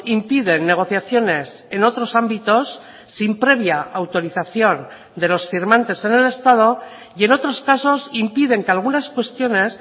impiden negociaciones en otros ámbitos sin previa autorización de los firmantes en el estado y en otros casos impiden que algunas cuestiones